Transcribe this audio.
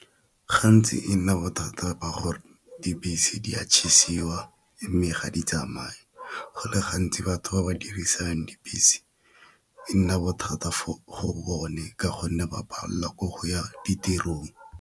Gantsi e nna bothata ba gore dibese di a mme ga di tsamaya, go le gantsi batho ba ba dirisang dibese e nna bothata go bone ka gonne ba palelwa ke go ya ditirong.